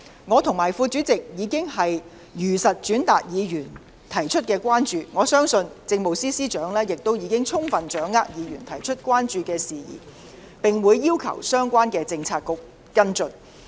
我和副主席已如實轉達議員提出的關注，相信政務司司長已充分掌握議員提出的關注事宜，並會要求相關的政策局跟進。